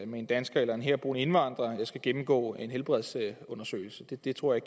med en dansker eller en herboende indvandrer skal gennemgå en helbredsundersøgelse det det tror jeg